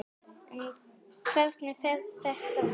En hvernig fer þetta fram?